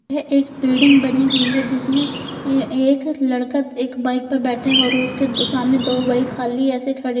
यह एक बिल्डिंग बनी हुई है जिसमें एक लड़का एक बाइक पर बैठा है और उसके सामने दो बाइक खाली ऐसे खड़े हैं।